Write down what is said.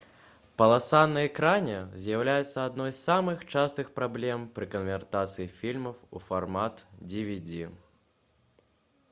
паласа на экране з'яўляецца адной з самых частых праблем пры канвертацыі фільмаў у фармат dvd